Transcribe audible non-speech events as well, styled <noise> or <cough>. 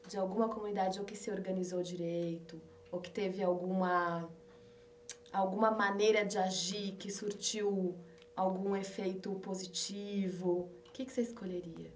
de alguma comunidade ou que se organizou direito, ou que teve alguma <unintelligible> alguma maneira de agir que surtiu algum efeito positivo, o que você escolheria?